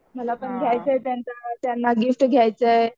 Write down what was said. मला पण घ्यायचं आहे त्यांना गिफ्ट घ्यायचं आहे.